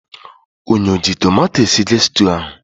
Ụnụ o ji tomato esige stuu ahụ?